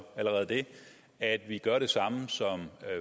allerede at vi gør det samme som